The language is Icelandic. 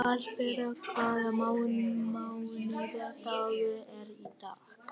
Hallbera, hvaða mánaðardagur er í dag?